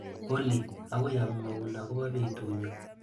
Olly, akoi amwaun akobo betunyu.